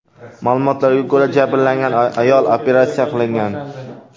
Ma’lumotlarga ko‘ra, jabrlangan ayol operatsiya qilingan.